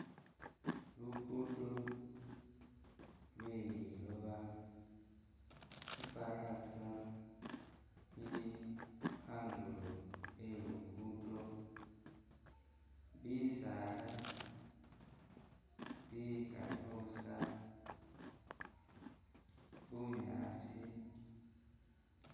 Lugudo lwe liloba ifarasa ili andulo e'lugudo bisaala bikalikho busa bunyasi